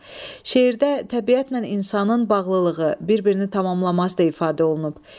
Şeirdə təbiətlə insanın bağlılığı, bir-birini tamamlaması da ifadə olunub.